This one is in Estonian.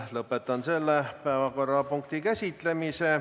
Lõpetan selle päevakorrapunkti käsitlemise.